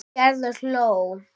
Gerður hló.